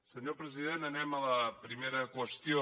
senyor president anem a la primera qüestió